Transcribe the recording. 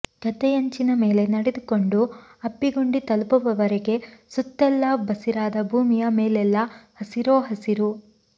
ಗದ್ದೆಯಂಚಿನ ಮೇಲೆ ನಡೆದುಕೊಂಡು ಅಬ್ಬಿಗುಂಡಿ ತಲುಪುವವರೆಗೆ ಸುತ್ತೆಲ್ಲ ಬಸಿರಾದ ಭೂಮಿಯ ಮೇಲೆಲ್ಲಾ ಹಸಿರೋ ಹಸಿರು